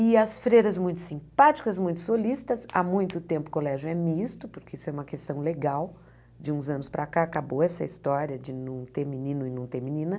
E as freiras muito simpáticas, muito solistas, há muito tempo o colégio é misto, porque isso é uma questão legal, de uns anos para cá acabou essa história de não ter menino e não ter menina.